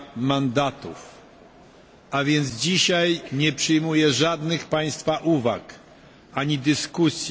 mandatów, a więc dzisiaj nie przyjmuję żadnych Państwa uwag ani dyskusji.